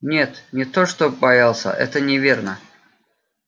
нет не то чтоб боялся это неверно